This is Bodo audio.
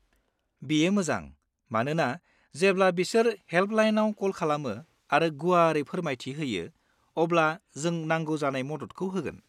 बियो मोजां मानोना जेब्ला बिसोर हेल्पलाइनाव कल खालामो आरो गुवारै फोरमायथि होयो, अब्ला जों नांगौ जानाय मददखौ होगोन।